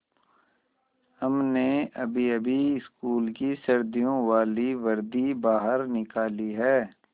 हमने अभीअभी स्कूल की सर्दियों वाली वर्दी बाहर निकाली है